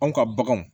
Anw ka baganw